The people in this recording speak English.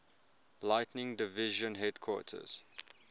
lighting division headquarters